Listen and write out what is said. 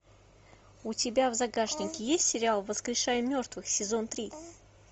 у тебя в загашнике есть сериал воскрешай мертвых сезон три